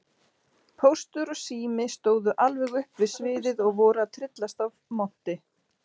Póstur og Sími stóðu alveg upp við sviðið og voru að tryllast af monti.